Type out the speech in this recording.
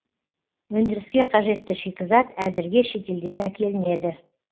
өндіріске қажетті шикізат әзірге шетелден әкелінеді